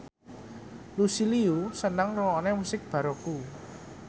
Lucy Liu seneng ngrungokne musik baroque